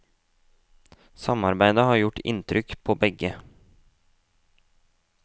Samarbeidet har gjort inntrykk på begge.